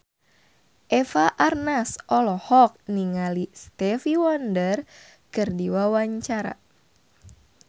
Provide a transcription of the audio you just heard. Eva Arnaz olohok ningali Stevie Wonder keur diwawancara